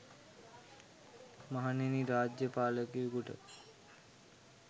මහණෙනි, රාජ්‍ය පාලකයෙකුට